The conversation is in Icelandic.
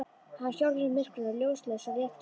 Hann hjólar í myrkrinu, ljóslaus og léttklæddur.